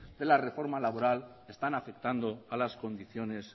de la reforma laboral están afectando a las condiciones